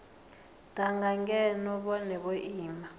danga ngeno vhone vho ima